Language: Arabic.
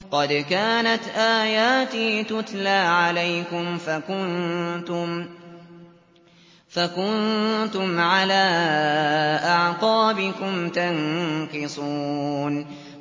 قَدْ كَانَتْ آيَاتِي تُتْلَىٰ عَلَيْكُمْ فَكُنتُمْ عَلَىٰ أَعْقَابِكُمْ تَنكِصُونَ